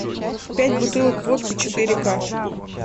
пять бутылок водки четыре ка